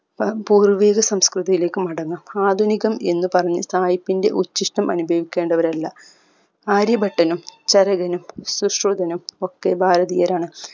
ത പൂർവ്വിക സംസ്കൃതിയിലേക്ക് മടങ്ങാം ആധുനികം എന്ന് പറഞ്ഞ് സായിപ്പിന്റെ ഉച്ചിഷ്ടം അനുഭവിക്കേണ്ടവരല്ല ആര്യഭട്ടനും ചരകനും ശുശ്രുതനും ഒക്കെ ഭാരതീയരാണ്